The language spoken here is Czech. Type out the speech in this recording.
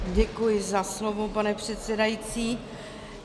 Děkuji za slovo, pane předsedající.